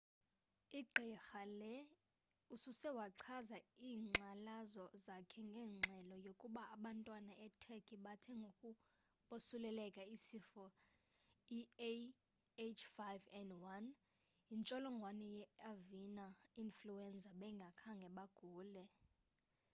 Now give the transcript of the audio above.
i gqirha lee usose wachaza inkxalazo zakhe ngengxelo yokuba abantwana e turkey bathe ngoku bosuleleleka sisifo iah5n1 yintsholongwane ye avina influenza bengakhange bagule